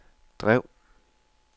drev